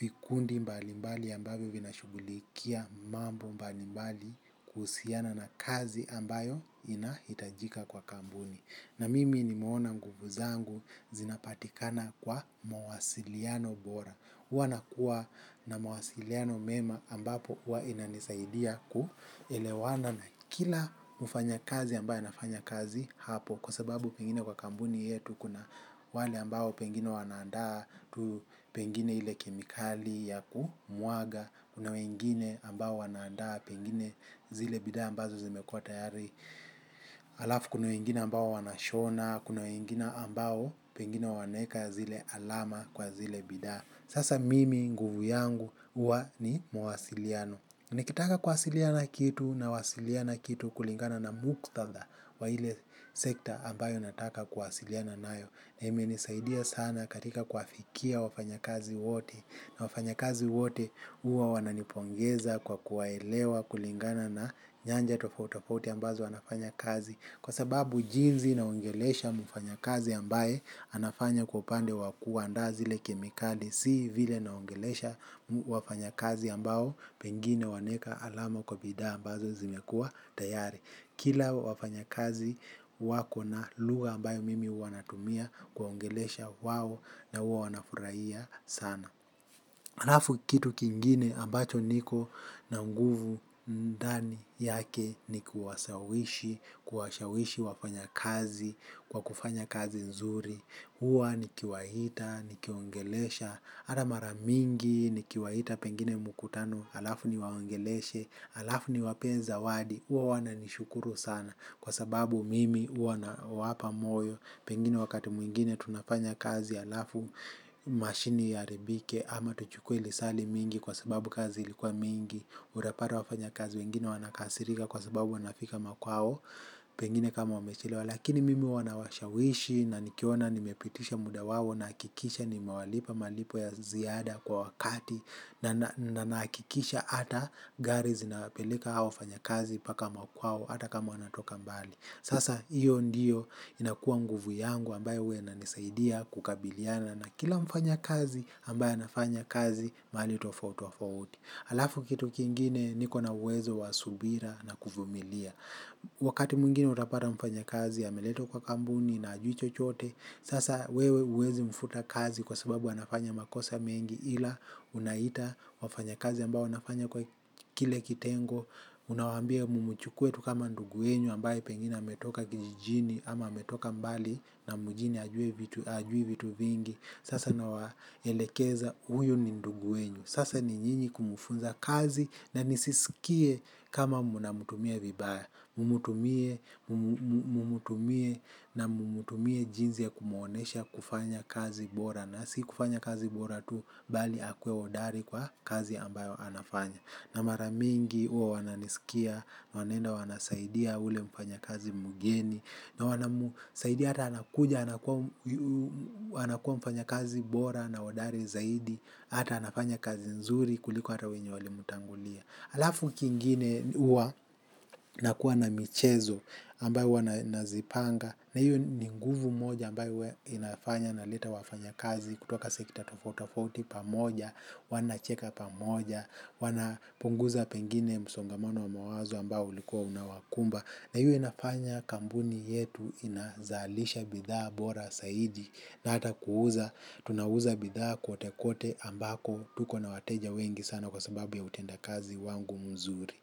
vikundi mbalimbali ambavyo vinashughulikia mambo mbali mbali kuhusiana na kazi ambayo inahitajika kwa kampuni. Na mimi nimeona mguvu zangu zinapatikana kwa mawasiliano bora huwa nakuwa na mawasiliano mema ambapo huwa inanisaidia ku elewana na kila mfanyakazi ambaye anafanya kazi hapo. Kwa sababu pengine kwa kampuni yetu kuna wale ambao pengine wanaandaa tu pengine ile kemikali ya kumwaga kuna wengine ambao wanaandaa pengine zile bidhaa ambazo zimekua tayari halafu kuna wengine ambao wanashona, kuna wengine ambao pengine wanaeka zile alama kwa zile bidhaa. Sasa mimi nguvu yangu huwa ni mawasiliano. Nikitaka kuwasilia na kitu nawasiliana kitu kulingana na muktadha wa ile sekta ambayo nataka kuwasiliana nayo. Na imenisaidia sana katika kuafikia wafanyakazi wote na wafanyakazi wote huwa wananipongeza kwa kuwaelewa kulingana na nyanja tofauti tofauti ambazo wanafanya kazi. Kwa sababu jinsi naongelesha mfanya kazi ambaye anafanya kwa upande wa kuandaa zile kemikali si vile naongelesha wafanyakazi ambao pengine wanaeka alama kwa bidhaa ambazo zimekua tayari. Kila wafanyakazi wako na lugha ambayo mimi huwa natumia kuwaongelesha wao na huwa wanafurahia sana. Halafu kitu kingine ambacho niko na nguvu ndani yake ni kuwashawishi, kuwashawishi wafanyakazi, kwa kufanya kazi nzuri, huwa nikiwaita, nikiwaongelesha, hata mara mingi nikiwaita pengine mkutano, halafu niwaongeleshe, halafu niwapee zawadi, huwa wananishukuru sana kwa sababu mimi huwa nawapa moyo, pengine wakati mwingine tunafanya kazi, halafu mashini iharibike, ama tuchukue lisaa limingi kwa sababu kazi ilikuwa mingi utapata wafanyakazi wengine wanakasirika kwa sababu wanafika makwao pengine kama wamechelewa lakini mimi huwa nawashawishi na nikiona nimepitisha muda wao nahakikisha nimewalipa malipo ya ziada kwa wakati na nahakikisha hata gari zinapeleka hao wafanyakazi mpaka makwao hata kama wanatoka mbali sasa hiyo ndiyo inakua nguvu yangu ambayo huwa inanisaidia kukabiliana na kila mfanyakazi ambaye anafanya kazi mahali tofauti tofauti. Halafu kitu kingine niko na uwezo wa subira na kuvumilia. Wakati mwingine utapata mfanyakazi ameletwa kwa kampuni na hajui chochote, sasa wewe huwezi mfuta kazi kwa sababu anafanya makosa mengi ila unaita wafanyakazi ambao wanafanya kwa kile kitengo, unawaambia mmchukue tu kama ndugu yenyu ambaye pengina ametoka kijijini ama ametoka mbali na mjini hajui vitu vingi. Sasa nawaelekeza huyu ni ndugu yenu sasa ni nyinyi kumfunza kazi na nisisikie kama mnamtumia vibaya. Mmtumie na mmtumie jinsi ya kumuonyesha kufanya kazi bora. Na si kufanya kazi bora tu bali akue hodari kwa kazi ambayo anafanya. Na mara mingi huwa wananisikia, wanaenda wanasaidia ule mfanyakazi mgeni. Na wanamsaidi hata anakuja, anakuwa mfanyakazi bora na hodari zaidi, hata anafanya kazi nzuri kuliko hata wenye walimtangulia. Halafu kingine huwa nakuwa na michezo ambayo huwa nazipanga, na hiyo ni nguvu moja ambayo huwa inafanya naleta wafanyakazi kutoka sekta tofauti tofauti pamoja, wanacheka pamoja, wanapunguza pengine msongamano wa mawazo ambao ulikuwa unawakumba na hiyo inafanya kampuni yetu inazalisha bidhaa bora zaidi na hata kuuza tunauza bidhaa kwote kwote ambako tuko na wateja wengi sana kwa sababu ya utendakazi wangu mzuri.